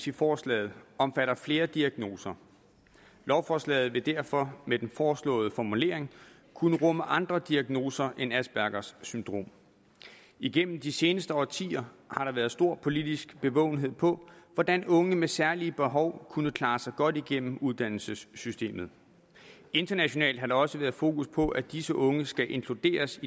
i forslaget omfatter flere diagnoser lovforslaget vil derfor med den foreslåede formulering kunne rumme andre diagnoser end aspergers syndrom igennem de seneste årtier har der været stor politisk bevågenhed på hvordan unge med særlige behov kunne klare sig godt igennem uddannelsessystemet internationalt har der også været fokus på at disse unge skal inkluderes